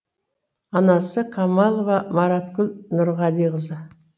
анасы камалова мараткүл нұрғалиқызы